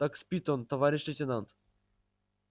так спит он товарищ лейтенант